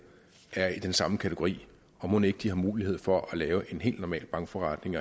er i den samme kategori mon ikke de har mulighed for at lave en helt normal bankforretning